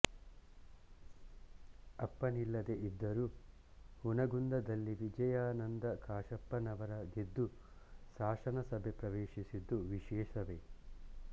ಅಪ್ಪನಿಲ್ಲದೇ ಇದ್ದರೂ ಹುನಗುಂದದಲ್ಲಿ ವಿಜಯಾನಂದ ಕಾಶಪ್ಪನವರ ಗೆದ್ದು ಶಾಸನಸಭೆ ಪ್ರವೇಶಿಸಿದ್ದು ವಿಶೇಷವೇ